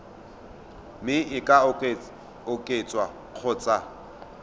mme e ka oketswa kgotsa